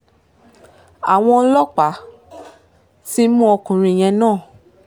àwọn ọlọ́pàá ti mú ọkùnrin yẹn náà